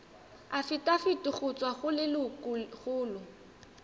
afitafiti go tswa go lelokolegolo